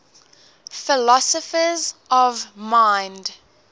philosophers of mind